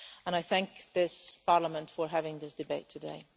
I thank this Parliament for having this debate today.